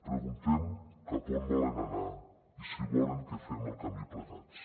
preguntem cap a on volen anar i si volen que fem el camí plegats